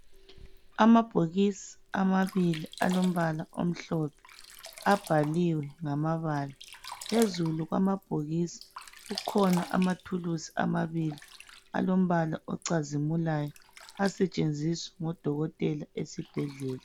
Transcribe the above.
Amabhokisi amabili alombala omhlophe abhaliwe ngamabala. Phezulu kwamabhokisi kukhona amathulusi amabili alombala ocazimulayo. Asetshenziswa ngodokotela esibhedlela.